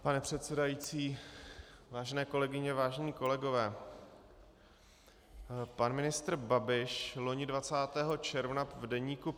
Pane předsedající, vážené kolegyně, vážení kolegové, pan ministr Babiš loni 20. června v deníku